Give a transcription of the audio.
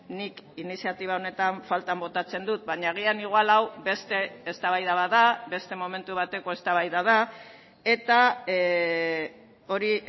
nik iniziatiba honetan faltan botatzen dut baina agian igual hau beste eztabaida bat da beste momentu bateko eztabaida da eta hori